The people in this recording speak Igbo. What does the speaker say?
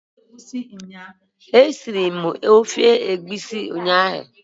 E siri m ofe egwusi nnyaa.